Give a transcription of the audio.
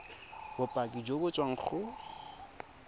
bopaki jo bo tswang go